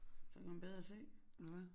Så kan man bedre se eller hvad